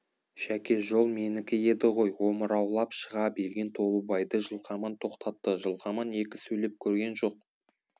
жәке жол менікі еді ғой омыраулап шыға берген толыбайды жылқаман тоқтатты жылқаман екі сөйлеп көрген жоқ